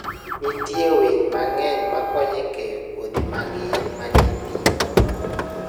Nitie winy mang'eny makonyo e keyo kodhi mag yien manie thim.